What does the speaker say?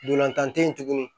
Ntolantan te yen tuguni